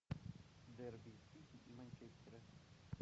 дерби сити и манчестера